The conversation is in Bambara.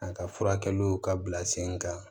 A ka furakɛliw ka bila sen kan